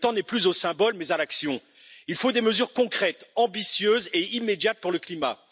Le temps n'est plus aux symboles mais à l'action. Il faut des mesures concrètes, ambitieuses et immédiates pour le climat.